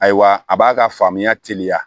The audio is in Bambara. Ayiwa a b'a ka faamuya teliya